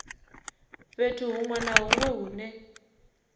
fhethu hunwe na hunwe hune